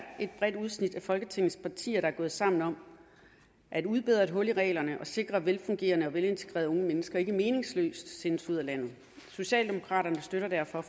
et bredt udsnit af folketingets partier der er gået sammen om at udbedre et hul i reglerne og har sikret at velfungerende og velintegrerede unge mennesker ikke meningsløst sendes ud af landet socialdemokraterne støtter derfor